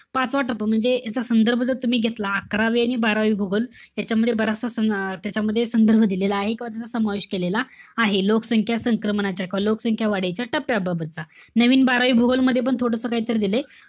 पाचवा टप्पा म्हणजे, याचा संदर्भ जर तुम्ही घेतला, अकरावी आणि बारावी भूगोल यांच्यामध्ये बराचसा सं~ अं त्याच्यामध्ये संदर्भ दिलेला आहे. किंवा त्याचा समावेश केलेला आहे. लोकसंख्या संक्रमणाच्या किंवा लोकसंख्या वाढीच्या टप्प्याबाबतचा. नवीन बारावी भूगोलमध्ये पण थोडस काहीतरी दिलय.